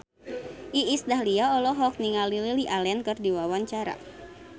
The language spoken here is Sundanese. Iis Dahlia olohok ningali Lily Allen keur diwawancara